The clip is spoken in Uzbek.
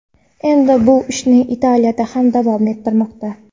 Endi bu ishni Italiyada ham davom ettirmoqda.